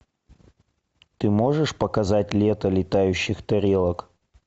ты можешь показать лето летающих тарелок